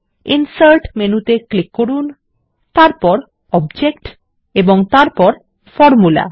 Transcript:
insert মেনুতে click করুন তারপর অবজেক্ট এবং তারপর ফরমুলা